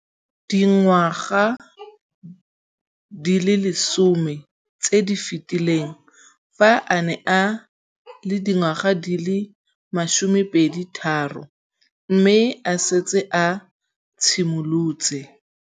Dingwaga di le 10 tse di fetileng, fa a ne a le dingwaga di le 23 mme a setse a itshimoletse